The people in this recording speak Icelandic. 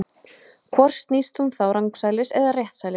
Hvort snýst hún þá rangsælis eða réttsælis?